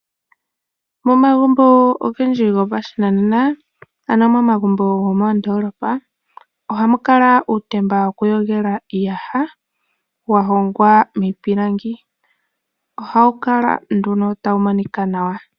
Momagumbo ogendji gopashinanena, ano momagumbo gomoondoolopa ohamu kala uutemba woku yogela iiyaha, wa hongwa miipilangi. Ohawu kala nduno tawu monika nawa.